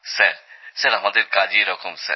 sir আমাদের কাজই এরকম স্যার